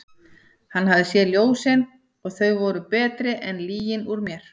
Hann hafði séð ljósin og þau voru betri en lygin úr mér.